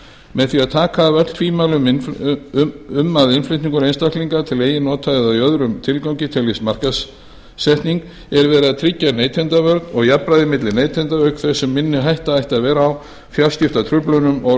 með því að taka af öll tvímæli um að innflutningur einstaklinga til eigin nota eða í öðrum tilgangi teljist markaðssetning er verið að tryggja neytendavernd og jafnræði milli neytenda auk þess sem minni hætta ætti að vera á fjarskiptatruflunum og